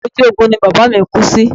Ojú ogun ni bàbá mi kú sí